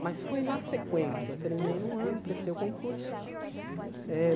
Mas foi na sequência, eu terminei num ano, prestei o concurso. Eh